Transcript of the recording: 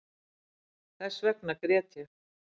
Þessvegna grét ég